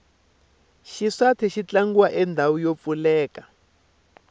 xiswathe xi tlangeriwa endhawini yo pfuleka